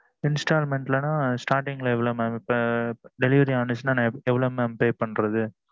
installment நா starting ல ஏவ்வளவு mam இப்ப delivery ஆனா நா ஏவ்வளவு pay பண்றது